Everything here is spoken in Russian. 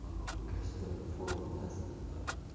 он вам каждом фору даст это